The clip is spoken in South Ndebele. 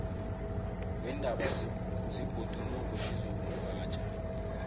weendaba zebhoduluko nezokuvatjha